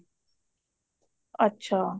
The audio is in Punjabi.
ਅੱਛਾ